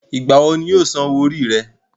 ìgbà wo ni yóò san owó orí rẹ̀?